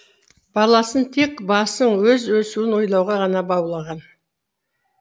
баласын тек өз басын өз өсуін ойлауға ғана баулыған